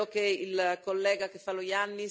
È necessario che si mobiliti questo Fondo.